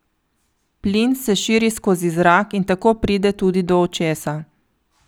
Plin se širi skozi zrak in tako pride tudi do očesa.